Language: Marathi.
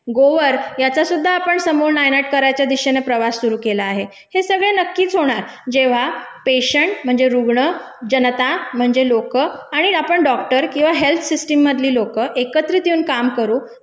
गोवर ह्याचासुद्धा आपण समूळ नायनाट करायच्या दिशिने प्रवास सुरु केला आहे. हे सगळे नक्कीच होणार जेव्हा पेशेंट म्हणजे रुग्ण, जनता म्हणजे लोकं आणि आपण डॉक्टर किंवा हेल्थ सिस्टममधली लोकं एकत्रित येऊन काम करू